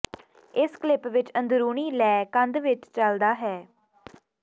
ਇਸ ਕਲਿੱਪ ਵਿੱਚ ਅੰਦਰੂਨੀ ਲੈਅ ਕੰਧ ਵਿੱਚ ਚੱਲਦਾ ਹੈ